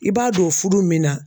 I b'a don O furu min na